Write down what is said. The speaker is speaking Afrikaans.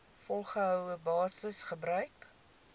volgehoue basis gebruik